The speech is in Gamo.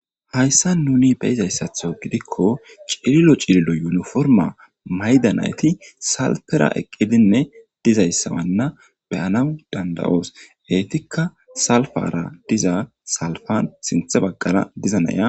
Hayisan nun besizastho gidiko cililo cililo yuni forima ma'ida nayiti salipera eqidine dizaysa mala danawu danida'osona salipa diza salipani sintha bagara diza na'ey